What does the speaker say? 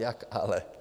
Jak ale?